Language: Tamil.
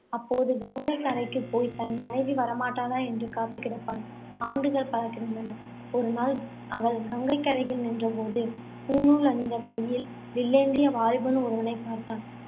அப்போது கங்கைக்கரைக்கு போய், தன் மனைவி வரமாட்டாளா என்று காத்துக்கிடப்பான். ஆண்டுகள் பல கடந்தன. ஒருநாள் அவன் கங்கைக்கரையில் நின்ற போது, பூணூல் அணிந்து கையில் வில்லேந்திய வாலிபன் ஒருவனைப் பார்த்தான்.